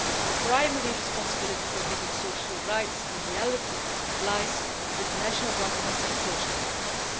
The primary responsibility for making social rights a reality lies with national governments and social partners.